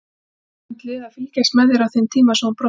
Voru erlend lið að fylgjast með þér á þeim tíma sem þú brotnaðir?